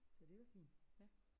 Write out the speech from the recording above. Så det er jo fint